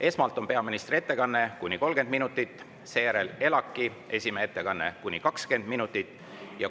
Esmalt on peaministri ettekanne kuni 30 minutit, seejärel ELAK-i esimehe ettekanne kuni 20 minutit.